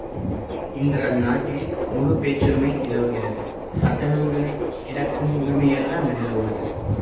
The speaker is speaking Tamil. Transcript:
இன்று அந்நாட்டில் முழு பேச்சுரிமை நிலவுகிறது சட்ட நூல்களில் கிடக்கும் உரிமையல்ல அங்கு நிலவுவது